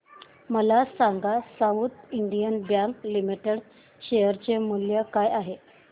मला सांगा south Indian bank limited चे शेअर मूल्य काय आहे